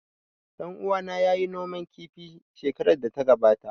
Ɗan uwana ya yi noman kifi shekarar da ta gabata